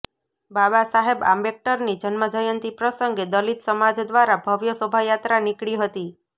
બાબા સાહેબ આંબેડકરની જન્મજયંતિ પ્રસગંે દલીત સમાજ દ્વારા ભવ્ય શોભાયાત્રા નિકળી હતી